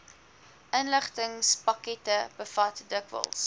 inligtingspakkette bevat dikwels